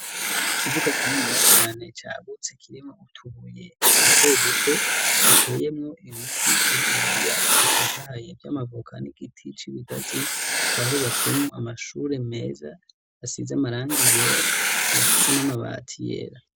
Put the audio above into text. Ikibuga kininiya cane cagutse kirimwo utubuye duto duto, giteyemwo ibiti bininiya bitotahaye vyamavuka, n'igiti c'ibigazi. Hakaba hubatsemwo amashure meza asize amarangi yera, akaba afise n'amabati yera.